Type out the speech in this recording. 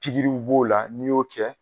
Pikiriw b'o la n'i y'o kɛ